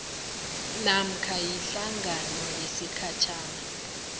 namkha ihlangano yesikhatjhana